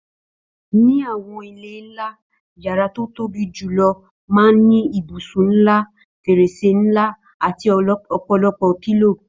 Ní àwọn ilé ńlá, yàrá tó tóbi julọ máa n ni ibùsùn ńlá, fèrèsé ńlá ati ọpọlọpọ pílòò